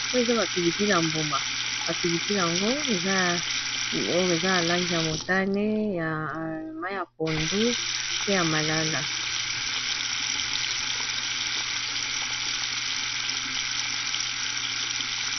Oyo eza ba pilipili ya mbuma ba pilipili yango oyo eza ya langi ya motane ya mayi ya pondu pe ya malala